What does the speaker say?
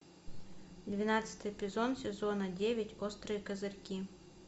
двенадцатый эпизод сезона девять острые козырьки